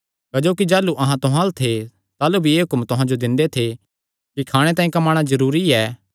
क्जोकि जाह़लू अहां तुहां अल्ल थे ताह़लू भी एह़ हुक्म तुहां जो दिंदे थे कि खाणे तांई कम्माणा जरूरी ऐ